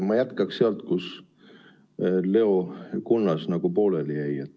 Ma jätkan sealt, kus Leo Kunnas pooleli jäi.